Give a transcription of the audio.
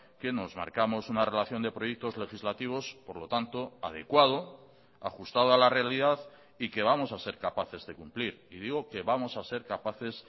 que nos marcamos una relación de proyectos legislativos por lo tanto adecuado ajustado a la realidad y que vamos a ser capaces de cumplir y digo que vamos a ser capaces